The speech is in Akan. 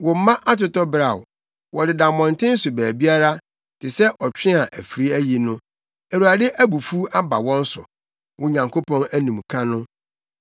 Wo mma atotɔ beraw; wɔdeda mmɔnten so baabiara, te sɛ ɔtwe a afiri ayi no. Awurade abufuw aba wɔn so, wo Nyankopɔn animka no.